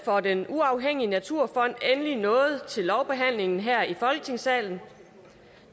for den uafhængige naturfond endelig nået til lovbehandlingen her i folketingssalen